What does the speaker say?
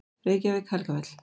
Reykjavík: Helgafell.